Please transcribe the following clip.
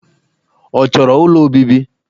Ọ chọrọ ụlọ obibi?